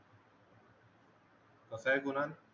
कसा ये कुणाल